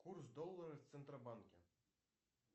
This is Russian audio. курс доллара в центробанке